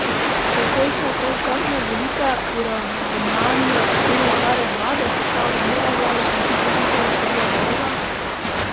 Takojšnje predčasne volitve, poravnanje računov stare vlade, sestava nove vlade in hitro znižanje tega dolga?